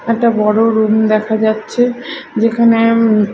একটা বড় রুম দেখা যাচ্ছে যেখানে--